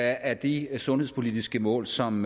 af de sundhedspolitiske mål som